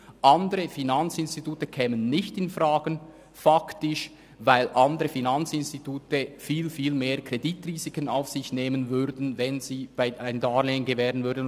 Andere Finanzinstitute kämen faktisch nicht infrage, weil andere Finanzinstitute sehr viel höhere Kreditrisiken auf sich nähmen, wenn sie ein Darlehen gewähren würden;